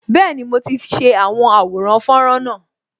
Bẹẹni, mo ti ṣe àwọn àwòrán fọ́nrán náà